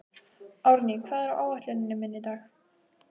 Árný, hvað er á áætluninni minni í dag?